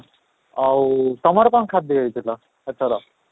ଆଉ ତମର କ'ଣ ଖାଦ୍ୟ ହେଇଥିଲା ଏଥର?